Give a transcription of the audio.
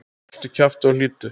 Haltu kjafti og hlýddu!